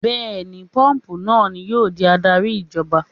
Bẹ́ẹ̀ni, póòpù náà ni yóò di adarí ìjọba